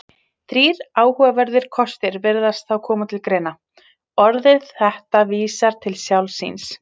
Þrír áhugaverðir kostir virðast þá koma til greina: Orðið þetta vísar til sjálfs sín.